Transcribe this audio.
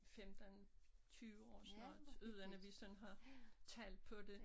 15 20 år sådan noget uden at vi sådan har tal på det